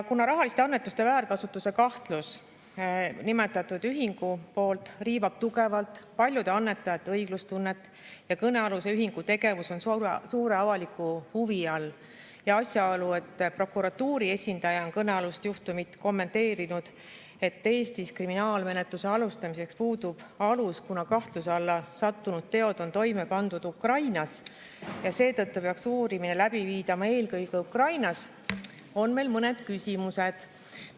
Kuna rahaliste annetuste väärkasutuse kahtlus nimetatud ühingu poolt riivab tugevalt paljude annetajate õiglustunnet ja kõnealuse ühingu tegevus on suure avaliku huvi all ning prokuratuuri esindaja on kõnealust juhtumit kommenteerinud nii, et Eestis kriminaalmenetluse alustamiseks puudub alus, kuna kahtluse alla sattunud teod on toime pandud Ukrainas ja seetõttu peaks uurimine läbi viidama eelkõige Ukrainas, on meil mõned küsimused.